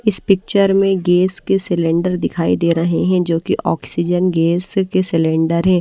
इस पिक्चर में गैस के सिलेंडर दिखाई दे रहे हैं जो कि ऑक्सीजन गैस के सिलेंडर हैं।